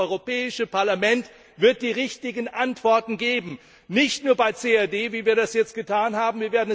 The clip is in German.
Dieses Europäische Parlament wird die richtigen Antworten geben, nicht nur bei CRD, wie wir das jetzt getan haben.